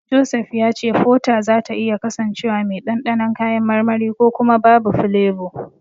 Joseph ya ce Fota zata iya kasancewa mai dandanon kayan marmari ko kuma babu filebo.